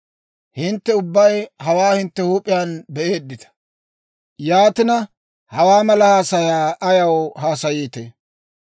Hintte ubbay hawaa hintte huup'iyaan be'eeddita. Yaatina, ha mela haasayaa ayaw haasayiitee?